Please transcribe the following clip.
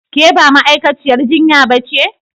Ke ba ma'aikaciyar jinya ba ce?